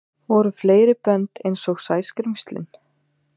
Voru fleiri bönd einsog Sæskrímslin?